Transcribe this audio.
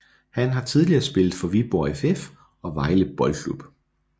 Han har tidligere spillet for Viborg FF og Vejle Boldklub